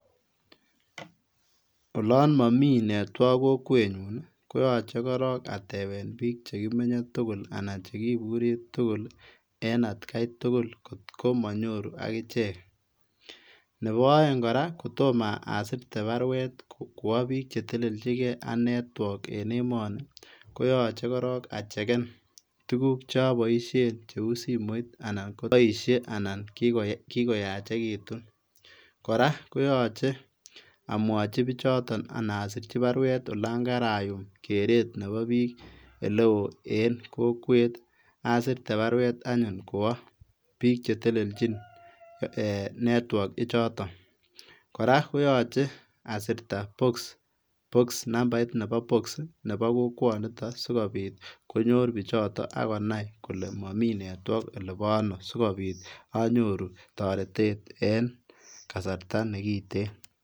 Ola mami netwag kokwenyun ii koyache korog atepen pik chegimenye tugul anan chegiburi tugul en atkai tugul ngotko manyoru agichek. Nebo aeng kora, kotomo asirte baruet kwa pik che telelji ak netwok en emoni, koyache kirok achegen tuguk che aboisien cheu simoit anan koboisie anan kogoyachegitun. Kora koyache amwachi pichoto anan asirchi baruet olangarayum keret nebo pik oleo en kokwet asirte baruet anyun kwo pik che teleljin ee netwok ichoton. Kora koyache asirta poks. Poks nambait nebo poks nebo kokwonitok sigopit konyor pichoton ak konai kole mami netwok olepaano sigopit anyoru toretet eng kasarta negiten.